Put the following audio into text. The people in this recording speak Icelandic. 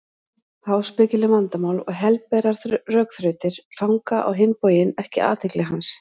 Háspekileg vandamál og helberar rökþrautir fanga á hinn bóginn ekki athygli hans.